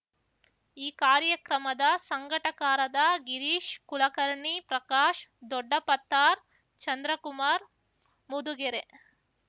ಈ ಕಾರ್ಯಕ್ರಮದ ಸಂಘಟಕರಾದ ಗಿರೀಶ್ ಕುಲಕರ್ಣಿ ಪ್ರಕಾಶ್ ದೊಡ್ಡಪತ್ತಾರ್ ಚಂದ್ರಕುಮಾರ್ ಮುದುಗೆರೆ